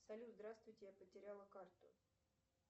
салют здравствуйте я потеряла карту